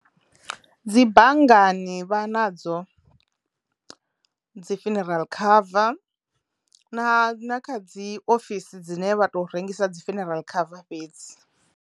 Dzi banngani vha nadzo dzi funeral cover na na kha dzi ofisi dzine vha to rengisa dzi funeral cover fhedzi.